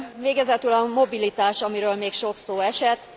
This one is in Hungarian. Végezetül a mobilitás, amiről még sok szó esett.